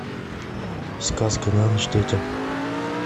сказка на ночь детям